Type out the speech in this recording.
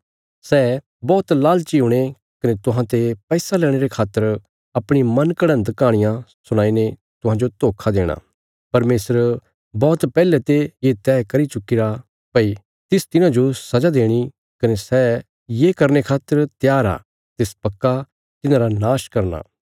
सै बौहत लालची हुणे कने तुहांते पैसा लेणे रे खातर अपणी मनघड़न्त कहाणियां सुणाईने तुहांजो धोखा देणा परमेशर बौहत पैहले ते ये तैह करी चुक्कीरा भई तिस तिन्हांजो सजा देणी कने सै ये करने खातर त्यार आ तिस पक्का तिन्हांरा नाश करना